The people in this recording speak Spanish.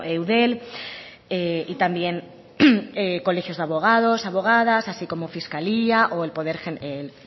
eudel y también colegios de abogados abogadas así como fiscalía o el